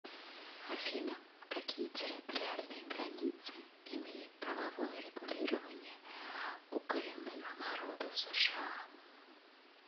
афина какие территориальные границы имеет правовое регулирование у коренных народов сша